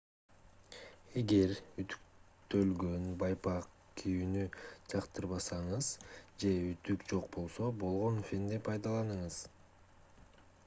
эгер үтүктөлгөн байпак кийүүнү жактырбасаңыз же үтүк жок болсо болгон фенди пайдаланыңыз